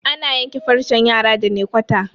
ana yanke farcen yara da naykwata